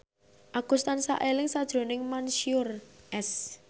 Agus tansah eling sakjroning Mansyur S